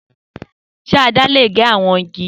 Se àdá le ge awọn igi?